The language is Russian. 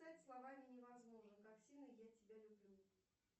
словами невозможно как сильно я тебя люблю